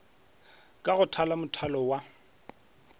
ka go thala mothalo wa